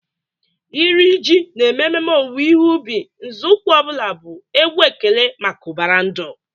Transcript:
Iri ji na-eme ememe owuwe ihe ubi, nzọụkwụ ọ bụla bụ egwu ekele maka ụbara ndụ.